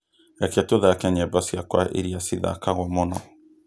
reke tūthake nyīmbo ciakwa iria cithakagwo mūno